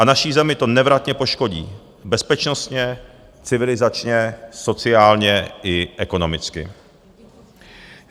A naši zemi to nevratně poškodí bezpečnostně, civilizačně, sociálně i ekonomicky.